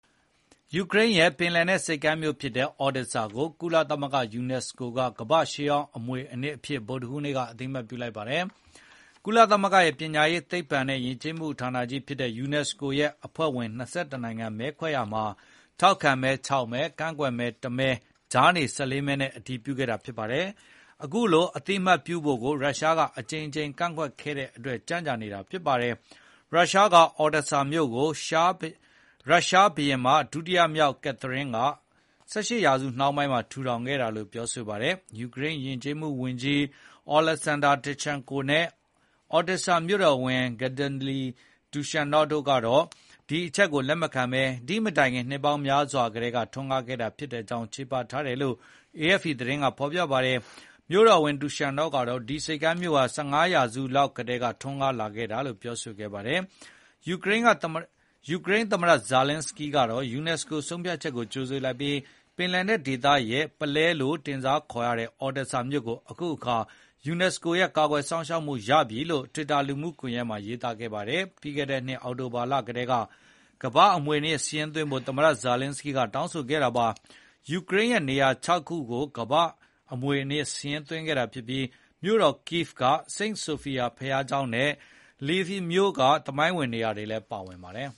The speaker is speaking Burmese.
ယူကရိန်းရဲ့ပင်လယ်နက်ဆိပ်ကမ်းမြို့ဖြစ်တဲ့ Odesa ကို ကုလသမဂ္ဂ UNESCO က ကမ္ဘာ့ရှေးဟောင်းမွေအနှစ်အဖြစ် ဗုဒ္ဓဟူးနေ့က အသိအမှတ်ပြုလိုက်ပါတယ်။ ကုလသမဂ္ဂရဲ့ပညာရေး၊ သိပ္ပံနဲ့ယဉ်ကျေးမှုဌာနကြီးဖြစ်တဲ့ UNESCO ရဲ့အဖွဲ့ဝင် ၂၁ နိုင်ငံ မဲခွဲရာမှာ ထောက်ခံမဲ ၆ မဲ၊ ကန့်ကွက်မဲ ၁ မဲ၊ ကြားနေ ၁၄ မဲနဲ့ အတည်ပြုခဲ့တာပါ။ အခုလို အသိအမှတ်ပြုဖို့ကို ရုရှားကအကြိမ်ကြိမ်ကန့်ကွက်ခဲ့တဲ့အတွက် ကြန့်ကြာနေခဲ့တာဖြစ်ပါတယ်။ ရုရှားက Odesa မြို့ကို ရုရှားဘုရင်မ ဒုတိယမြောက် ကက်သရင်းက ၁၈ ရာစုနှောင်းပိုင်းမှာ ထူထောင်ခဲ့တာလို့ပြောဆိုထားပါတယ်။ ယူကရိန်းယဉ်ကျေးမှုဝန်ကြီး Oleksandr Tkachenko နဲ့ Odesa မြို့တော်ဝန် Gennadly Trukhanov တို့ကတော့ ဒီအချက်ကိုလက်မခံဘဲ ဒီမတိုင်ခင် နှစ်ပေါင်းများစွာကတည်းက ထွန်းကားခဲ့တာဖြစ်ကြောင်း ချေပထားတယ်လို့ AFP သတင်းကဖော်ပြပါတယ်။ မြို့တော်ဝန် Trukhanov ကတော့ ဒီဆိပ်ကမ်းမြို့ဟာ ၁၅ ရာစုလောက်ကတည်းက ထွန်းကားလာခဲ့ကြောင်းပြောဆိုခဲ့ပါတယ်။ ယူကရိန်းသမ္မတ Volodymyr Zelenskyy ကတော့ UNESCO ဆုံးဖြတ်ချက်ကို ကြိုဆိုလိုက်ပြီး ပင်လယ်နက်ဒေသရဲ့ပုလဲလို့ တင်စားခေါ်ခံရတဲ့ Odesa မြို့ကို အခုအခါ UNESCO ရဲ့ကာကွယ်စောင့်ရှောက်မှုရပြီလို့ တွစ်တာလူမှုကွန်ယက်မှာရေးသားခဲ့ပါတယ်။ ပြီးခဲ့တဲ့နှစ်အောက်တိုဘာလကတည်းက ကမ္ဘာ့အမွေအနှစ်စာရင်းသွင်းဖို့ သမ္မတ ဇာလင်းစကီးကတောင်းဆိုခဲ့တာပါ။ ယူကရိန်းရဲ့နေရာ ၆ ခုကို ကမ္ဘာ့အမွေအနှစ်စာရင်းသွင်းခဲ့တာဖြစ်ပြီး မြို့တော် Kyiv က Saint Sophia ဘုရားကျောင်းနဲ့ Lviv မြို့က သမိုင်းဝင်နေရာတွေလည်းပါဝင်ပါတယ်